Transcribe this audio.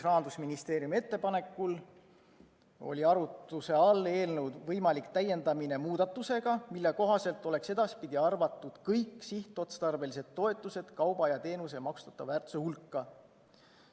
Rahandusministeeriumi ettepanekul oli arutluse all eelnõu võimalik täiendamine muudatusega, mille kohaselt oleks edaspidi arvatud kõik sihtotstarbelised toetused kauba ja teenuse maksustatava väärtuse hulka.